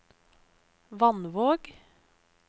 Vannvåg